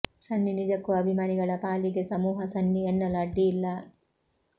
ಸನ್ನಿ ನಿಜಕ್ಕೂ ಅಭಿಮಾನಿಗಳ ಪಾಲಿಗೆ ಸಮೂಹ ಸನ್ನಿ ಎನ್ನಲು ಅಡ್ಡಿ ಇಲ್ಲ